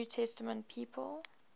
new testament people